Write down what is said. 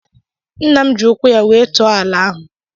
Nna m ji ụkwụ ya wee tụọ ala ahụ.